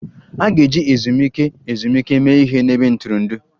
A ga-eji ezumike ezumike mee ihe n'ebe ntụrụndụ